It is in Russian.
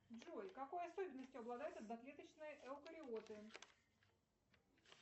джой какой особенностью обладают одноклеточные эукариоты